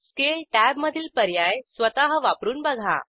scale tab मधील पर्याय स्वतः वापरून बघा